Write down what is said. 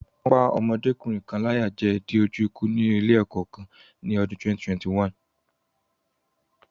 Wọ́n pá ọmọdékùnrin kan láyà jẹ dé ojú ikú ní ilé-ẹ̀kọ́ Èkó kan ní ọdún 2021.